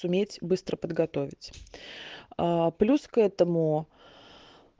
суметь быстро подготовить плюс к этому